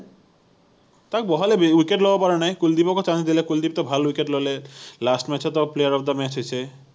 তাক বহালেতো সি ৱিকেট লব পৰা নাই, কুলদিপকো chance দিলে, কুলদিপতো ভাল ৱিকেট ললে last match তো player of the match হৈছে